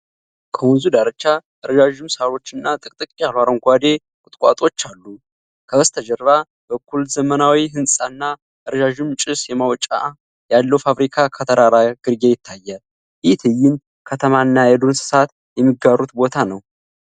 ከወንዙ ዳርቻ ረዣዥም ሳሮችና ጥቅጥቅ ያሉ አረንጓዴ ቁጥቋጦዎች አሉ። ከበስተጀርባ በኩል ዘመናዊ ሕንፃና ረዣዥም ጭስ ማውጫ ያለው ፋብሪካ ከተራራ ግርጌ ይታያል። ይህ ትዕይንት ከተማና የዱር እንስሳት የሚጋሩት ቦታ ነው።